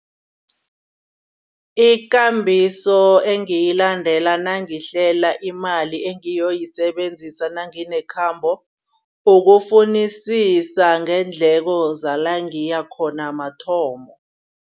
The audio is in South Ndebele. Ikambiso engiyilandela nangihlela imali engiyoyisebenzisa nanginekhambo. Ukufunisisa ngeendleko zala ngiya khona mathomo.